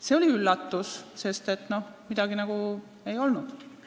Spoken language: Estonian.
See oli üllatus, sest mingit probleemi nagu ei olnud.